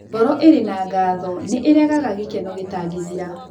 Ngoro ĩrĩ na ngatho nĩ ĩrehaga gĩkeno gĩtangĩthira.